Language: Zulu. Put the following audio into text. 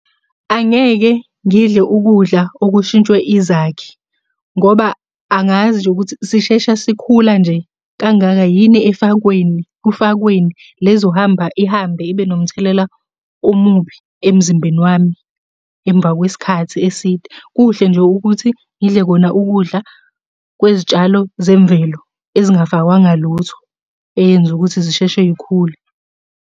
Angeke ngidle ukudla okushintshwe izakhi, ngoba angazi nje ukuthi sisheshe sikhula nje kangaka yini efakweni, kufakweni le ezohamba ihambe ibe nomthelela omubi emzimbeni wami emva kwesikhathi eside. Kuhle nje ukuthi ngidle kona ukudla kwezitshalo zemvelo ezingafakwanga lutho eyenza ukuthi zisheshe iy'khule.